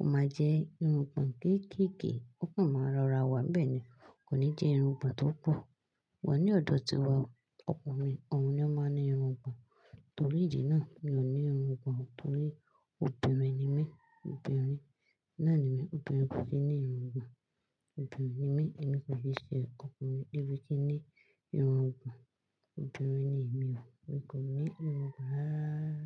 ó máa jẹ́ irun gbon kéékèèké, ó kan máa rọra wá. Bẹ́ẹ̀ ni, kò ní jẹ́ irun gbàn tó pọ̀. Wàá ní ọ̀dọ̀ tiwa o, ọkùnrin òun ni ó máa ń ní irun gbon. Torí ìdí náà, mi ò ní irun gbon torí obìnrin ni mí. Obìnrin nàá ni mi, obìnrin kò kí ń ní irun gbon. Obìnrin ni mí, èmi kò le ṣe nkan ọkùnrin. Èmi kí ń ní irun gbon. Obìnrin ni èmi o, mi kò ní irun gbon rárá.